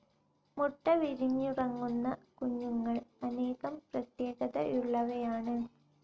മുട്ട വിരിഞ്ഞിറങ്ങുന്ന കുഞ്ഞുങ്ങൾ അനേകം പ്രത്യേകതയുളളവയാണ്.